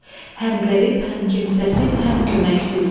Həm qərib, həm kimsəsiz, həm köməksiz.